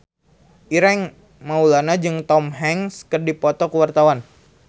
Ireng Maulana jeung Tom Hanks keur dipoto ku wartawan